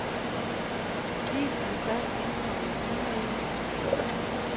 Vis den først indkomne e-mail.